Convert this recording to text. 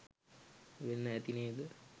වෙන්න ඇති නේද?